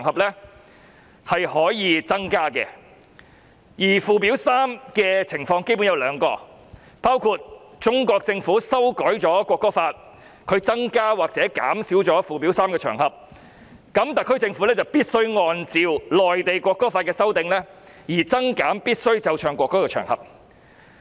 第一種情況是中國政府修改《國歌法》，增減須奏唱國歌的場合，這樣特區政府便必須按照內地《國歌法》的修訂而增減附表3載列須奏唱國歌的場合。